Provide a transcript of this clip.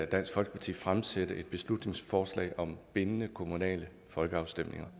dansk folkeparti fremsætte et beslutningsforslag om bindende kommunale folkeafstemninger